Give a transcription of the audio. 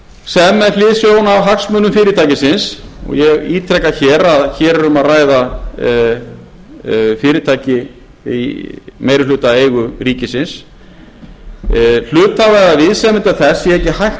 upplýsingar sem með hliðsjón af hagsmunum fyrirtækisins og ég ítreka hér er um að ræða fyrirtæki í meirihlutaeigu ríkisins hluthafa eða viðsemjenda þess sé ekki hægt